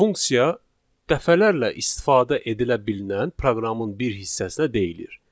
Funksiya dəfələrlə istifadə edilə bilən proqramın bir hissəsinə deyilir.